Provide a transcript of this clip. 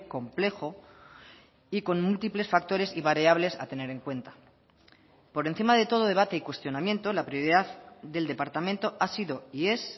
complejo y con múltiples factores y variables a tener en cuenta por encima de todo debate y cuestionamiento la prioridad del departamento ha sido y es